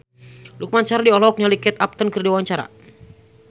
Lukman Sardi olohok ningali Kate Upton keur diwawancara